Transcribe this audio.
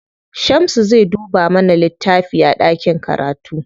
Shamsu zai dubo mana wani littafi a ɗakin karatu.